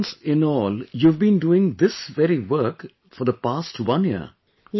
That means, in all, you have been doing this very work for the past one year